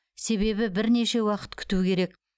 себебі бірнеше уақыт күту керек